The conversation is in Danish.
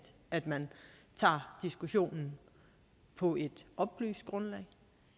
at man tager diskussionen på et oplyst grundlag